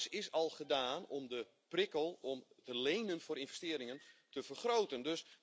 Alles is al gedaan om de prikkel om te lenen voor investeringen te vergroten.